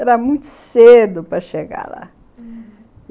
Era muito cedo para chegar lá, uhum.